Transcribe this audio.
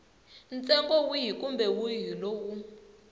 ntsengo wihi kumbe wihi lowu